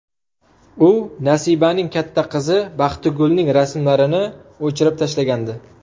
U Nasibaning katta qizi Baxtigulning rasmlarini o‘chirib tashlagandi.